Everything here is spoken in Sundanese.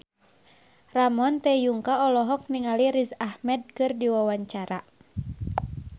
Ramon T. Yungka olohok ningali Riz Ahmed keur diwawancara